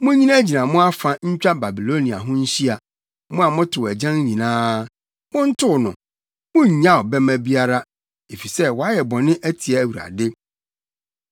“Munnyinagyina mo afa ntwa Babilonia ho nhyia, mo a motow agyan nyinaa. Montow no! Munnyaw bɛmma biara, efisɛ wayɛ bɔne atia Awurade.